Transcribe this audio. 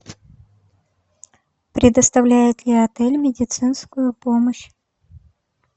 предоставляет ли отель медицинскую помощь